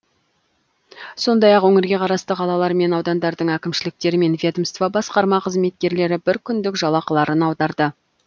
сондай ақ өңірге қарасты қалалар мен аудандардың әкімшіліктері мен ведомство басқарма қызметкерлері бір күндік жалақыларын аударды